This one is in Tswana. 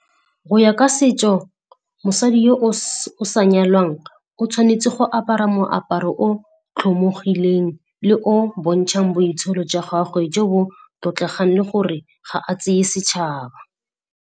Go ya ka setso, mosadi yo o sa nyalwang o tshwanetse go apara moaparo o tlhomogileng le o bontshang boitsholo jwa gagwe jo bo tlotlegang le gore ga a tseye setšhaba.